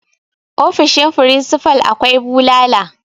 ofoshin frisifal akwai bulala